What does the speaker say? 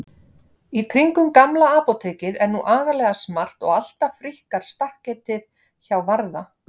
Í kringum Gamla apótekið er nú agalega smart og alltaf fríkkar stakketið hjá Varða.